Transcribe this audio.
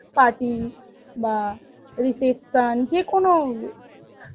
party বা reception যেকোনো